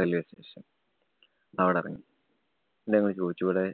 railway station അവിടെറങ്ങി. ന്നിട്ട് ഞങ്ങള് ചോയ്ച്ചു ഇവടെ